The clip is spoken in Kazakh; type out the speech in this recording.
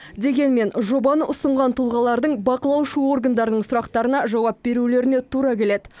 дегенмен жобаны ұсынған тұлғалардың бақылаушы органдардың сұрақтарына жауап берулеріне тура келеді